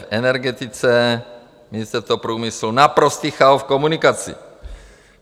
V energetice, Ministerstvo průmyslu - naprostý chaos v komunikaci.